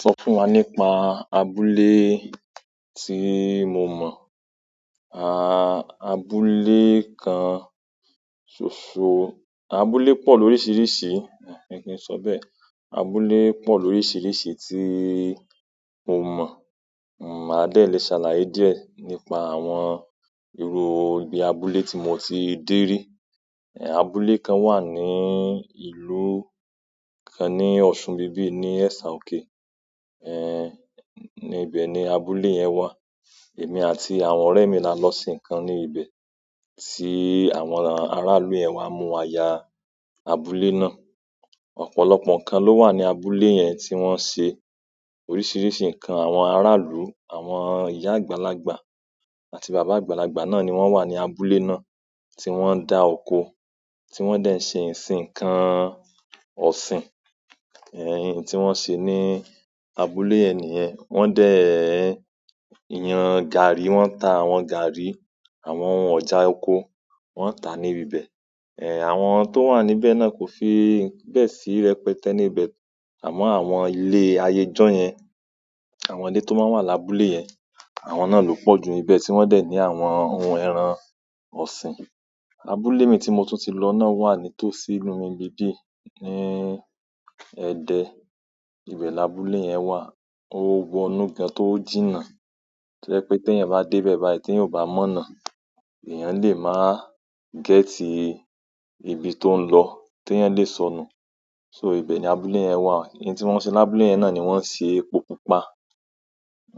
Sọ fún wa nípa abúlé tí mo mọ́, a abúlé kan ṣoṣo, abúlé pọ̀ lóríṣiríṣi, ẹ̀ kí n sọ bẹ́ẹ̀? Abúlé pọ̀ lóríṣiríṣi tí mo mọ̀, n o máa dẹ̀ lé ṣàlàyé díẹ̀ nípa àwọn irú ibi abúlé tí mo ti dé rí. Ẹ̀, abúlé kan wà ní ìlú kan ní Ọ̀ṣun bibí ní Ẹ̀ṣà òkè, ẹ́, ní ibẹ̀ ni abúlé yẹn wà. Èmi àti àwọn ọ̀rẹ́ mi la lọ sí nǹkan ní ibẹ̀ tí àwọn aráàlú ẹ́ wá mú wa ya abúlé náà. Ọ̀pọ̀lọpọ̀ nǹkan ló wà ní abúlé yẹn tí wọ́n ń ṣe oríṣiríṣi nǹkan. Àwọn ara ìlú àwọn iya àgbàlagbà àti baba àgbàlagbà náà ni won wa ni abúlé náà ti won da oko ti won de n sin nǹkan ọ̀sìn oun ti won se ni abúlé yen niyen won de n garri won ta àwọn garri àwọn ọjà oko won ta ni ibi be. Ẹ̀, àwọn tó wà níbẹ̀ náà kò fi bẹ́ẹ̀ sí rẹpẹtẹ́ níbẹ̀. Àmọ́ àwọn ilé ayẹ ijọ́ yẹn, àwọn ilé tó máa ń wà lábúlé yẹn, àwọn náà ló pọ̀ ju níbẹ̀ tí wọ́n dẹ̀ ní àwọn ohun ẹran ọ̀sìn. Abúlé mi tí mo tún ti lọ náà wà ní tòsí ìlú mí n bíbí ní Ẹ̀dẹ́. Ibẹ̀ ni abúlé yẹn wà. Ó wọ́nù gan tó jìnnà. To je pé tí ẹeyan bá dé ibẹ̀ báyìí tí eeyan ò bá mọ̀nà, èèyàn lè máa gẹ́tì ibi tó ń lọ tí ẹ́eyan lè sọnù. So ìbẹ̀ ni abúlé yẹn wà. Nǹkan tí wọ́n ń ṣe lábúlé yẹn náà ni wọ́n ń ṣe epo pupa.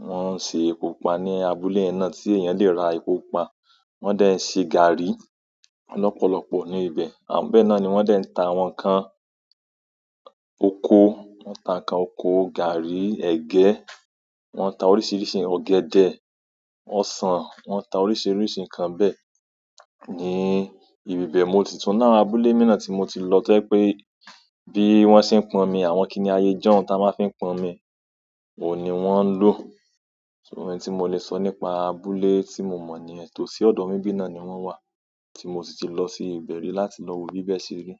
Wọ́n ń ṣe epo pupa ní abúlé yẹn náà tí èèyàn lè ra epo pupa. Wọ́n dẹ̀ ń ṣe gààrí lọ̀pọ̀lọpọ̀ ní ibẹ̀. Be náà ni wọ́n dẹ̀ ń ta àwọn nǹkan oko, wọ́n ń ta nǹkan oko, gààrí, ẹ̀gẹ́. Wọ́n ń ta oríṣiríṣi ọ̀gẹ̀dẹ̀, ọsàn, wọ́n ń ta oríṣiríṣi nǹkan bẹ́ẹ̀ ní ibi ìbẹ̀. Mo ti tún ni àwọn abúlé mi náà tí mo ti lọ to je pé bí wọ́n ṣe ń pọn omi, àwọn kíni ayẹyẹjọ́ tí a máa fi ń pọn omi, ò ní wọ́n ń lò. So nǹkan tí mo lè sọ nípa abúlé tí mo mọ́ niyen itòsí ọ̀dọ̀ mí n bí náà ni wọ́n wà tí mo sì ti lọ sí ibẹ̀ rí láti lọ wo bí bẹ́ẹ́ ṣe rí.